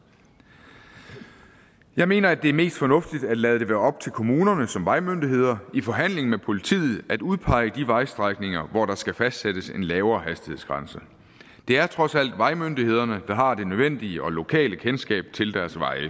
jeg mener at det er mest fornuftigt at lade det være op til kommunerne som vejmyndigheder i forhandling med politiet at udpege de vejstrækninger hvor der skal fastsættes en lavere hastighedsgrænse det er trods alt vejmyndighederne der har det nødvendige og lokale kendskab til deres veje